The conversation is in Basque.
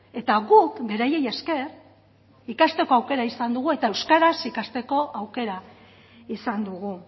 eta guk beraiei esker ikasteko aukera izan dugu eta euskaraz ikasteko aukera izan dugu